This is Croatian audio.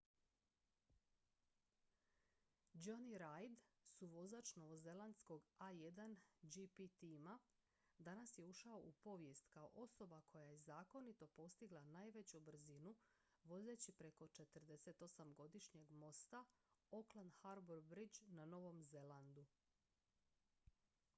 jonny reid suvozač novozelandskog a1gp tima danas je ušao u povijest kao osoba koja je zakonito postigla najveću brzinu vozeći preko 48-godišnjeg mosta auckland harbour bridge na novom zelandu